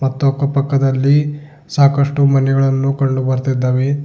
ಮತ್ತು ಅಕ್ಕಪಕ್ಕದಲ್ಲಿ ಸಾಕಷ್ಟು ಮನೆಗಳನ್ನು ಕಂಡು ಬರ್ತ್ತಿದ್ದಾವೆ.